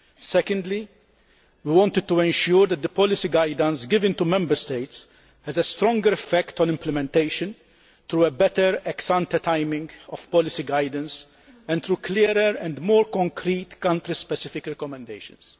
Secondly, we wanted to ensure that the policy guidance given to Member States has a stronger effect on implementation, through a better ex ante timing of policy guidance and through clearer and more concrete country specific recommendations.